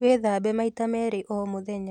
Wĩthambe maita merĩ oro mũthenya